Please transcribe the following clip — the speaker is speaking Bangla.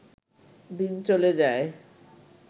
দিন চলে যায়